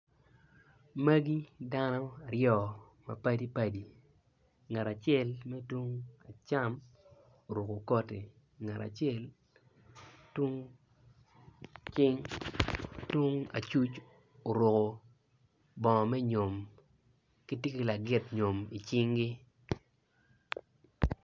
Magi dano aryo ma padi padi ngat acel tye tung acam oruko koti ngat acel ocung i cing tung acuc oruko bongo me nyo. Gitye ki lagit nyom i cingi.